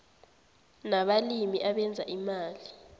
nabalimi abenza imali